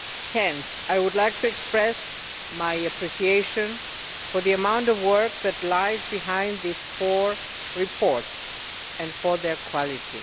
Hence I would like to express my appreciation for the amount of work which lies behind these four reports and for their quality.